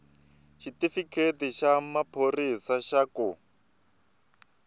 xitifiketi xa maphorisa xa ku